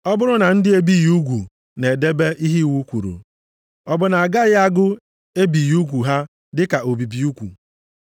Ọ bụrụ na ndị e bighị ugwu na-edebe ihe iwu kwuru, ọ bụ na a gaghị agụ ebighị ugwu ha dịka obibi ugwu?